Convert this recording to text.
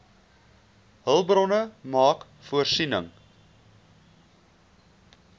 hulpbronne maak voorsiening